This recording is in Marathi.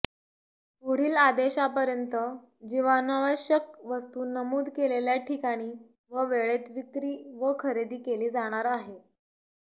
पुढील आदेशपर्यत जीवनावश्यक वस्तू नमूद केलेल्या ठिकाणी व वेळेत विक्री व खरेदी केली जाणार आहे